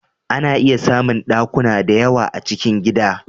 A na iya samun ɗakuna da yawa a cikin gida